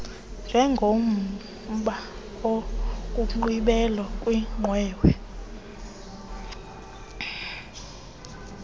njengomba wokugqibela kwiqwewe